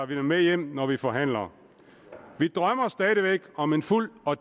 dem med hjem når vi forhandler vi drømmer stadig væk om en fuldt